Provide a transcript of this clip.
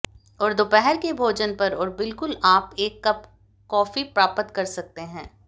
और दोपहर के भोजन पर और बिल्कुल आप एक कप कॉफी प्राप्त कर सकते हैं